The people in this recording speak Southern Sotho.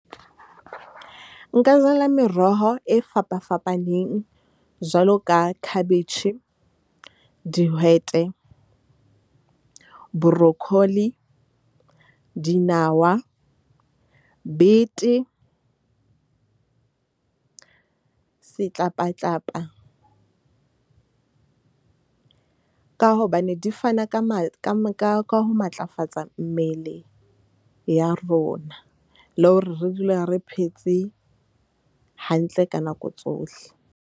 Nka jala meroho e fapafapaneng jwalo ka khabetjhe, dihwete, brocoli, dinawa, bete setlapatlapa. Ka hobane di fana ka ho matlafatsa mmele ya rona le hore re dule re phetse hantle ka nako tsohle.